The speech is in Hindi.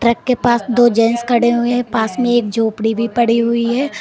ट्रक के पास दो जेंट्स खड़े हुए है पास में एक झोपड़ी भी पड़ी हुई है।